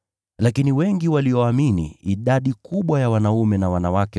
Hata hivyo, waliomwamini Bwana wakazidi kuongezeka, wanaume na wanawake.